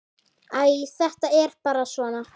Æ, þetta er bara svona.